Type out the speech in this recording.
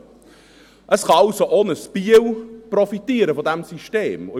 Es kann also auch eine Stadt wie Biel von diesem System profitieren.